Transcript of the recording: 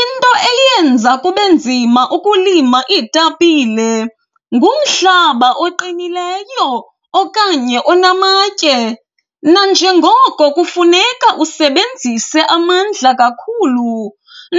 Into eyenza kube nzima ukulima iitapile ngumhlaba oqinileyo okanye onamatye nanjengoko kufuneka usebenzise amandla kakhulu,